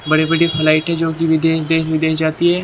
बड़े बड़े फ्लाइट है जो कि विदेश देश विदेश जाती है।